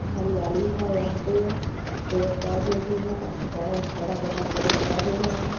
हरियाली है यहां पे पेड़-पौधे भी है बहुत बड़ा-बड़ा पेड़-पौधे है।